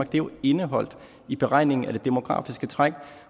det er indeholdt i beregningen af det demografiske træk